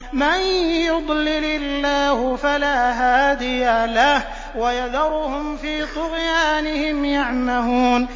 مَن يُضْلِلِ اللَّهُ فَلَا هَادِيَ لَهُ ۚ وَيَذَرُهُمْ فِي طُغْيَانِهِمْ يَعْمَهُونَ